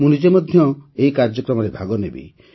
ମୁଁ ନିଜେ ମଧ୍ୟ ଏହି କାର୍ଯ୍ୟକ୍ରମରେ ଭାଗନେବି